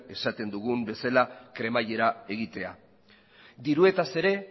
esaten dugun bezala kremaiera egitea diruetaz ere